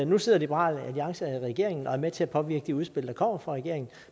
nu sidder liberal alliance i regeringen og er med til at påvirke de udspil der kommer fra regeringen